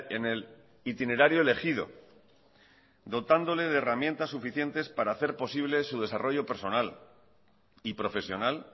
en el itinerario elegido dotándole de herramientas suficientes para hacer posible su desarrollo personal y profesional